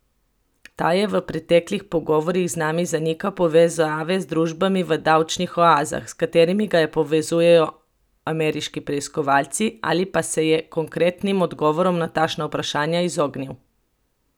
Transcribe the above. Ta je v preteklih pogovorih z nami zanikal povezave z družbami v davčnih oazah, s katerimi ga povezujejo ameriški preiskovalci, ali pa se je konkretnim odgovorom na takšna vprašanja izognil.